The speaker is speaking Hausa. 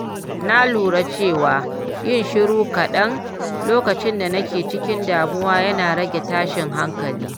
Na lura cewa yin shiru kaɗan lokacin da nake cikin damuwa yana rage tashin hankali.